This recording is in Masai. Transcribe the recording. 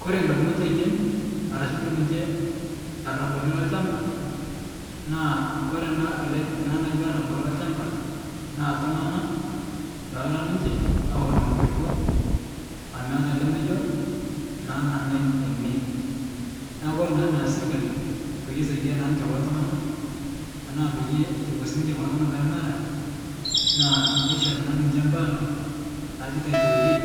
Kore ndamunot ainen arashu duo ninche larabali lalchamba naa kore naa ale ana naji larabal lachamba, naa ltung'ana loora ninche aoro nkulupo ameata lemejo, naa nanai ene, naa kore naa neas sirkali payie esaidia naa ninye kulo tung'ana ana payie eko naa ninche kulo tung'ana peemera, naa neishori naa ninche mpala naaji title deed